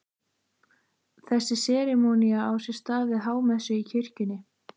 Þessi serimónía á sér stað við hámessu í kirkjunni.